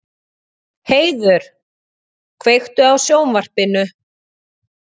Heiður, kveiktu á sjónvarpinu.